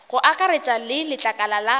go akaretša le letlakala la